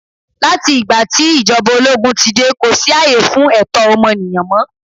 Láti ìgbà tí ìjọba ológún ti dé, kò sí ààyè fún ẹ̀tọ́ ọmọnìyàn mọ.